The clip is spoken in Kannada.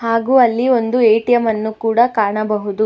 ಹಾಗು ಅಲ್ಲಿ ಒಂದು ಎ_ಟಿ_ಎಮ್ ಅನ್ನು ಕೂಡ ಕಾಣಬಹುದು.